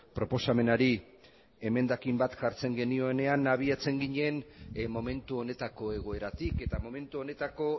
proposamenari emendakin bat jartzen genioenean abiatzen ginen momentu honetako egoeratik eta momentu honetako